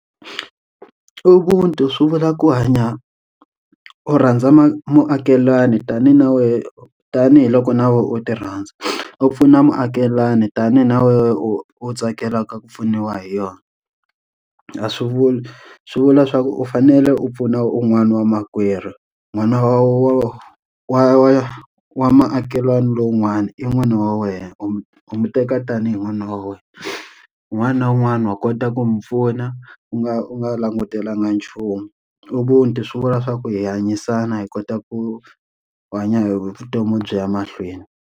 Ubuntu swi vula ku hanya u rhandza ma muakelani tanihi na wehe u tanihiloko na wena u ti rhandza, u pfuna muakelani tanihi na wena u tsakela ka ku pfuniwa hi yona. A swi vuli swi vula swa ku u fanele u pfuna un'wana wa makwerhu n'wana wa wa wa wa makhelwani lowun'wana i n'wana wa wena, u nwi teka tanihi n'wana wa wena. Un'wana na un'wana wa kota ku n'wi pfuna, u nga u nga langutelanga nchumu. Ubuntu swi vula swa ku hanyisana hi kota ku hanya hi vutomi byi ya mahlweni.